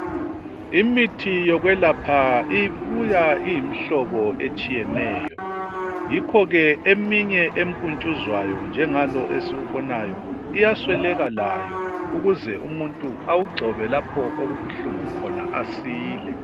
Imithi yokwelapha ibuya imhlobo etshiyeneyo yikho eminye empuntshuzwayo njengalo esiwubonayo iyasweleka layo ukuze umuntu awugcobe lapho okubuhlungu khona asile